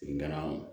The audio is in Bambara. Nga na